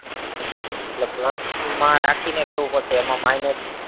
એટલે plus માં રાખીને કેવું પડશે એમાં minus